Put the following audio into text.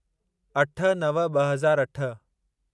अठ नव ॿ हज़ार अठ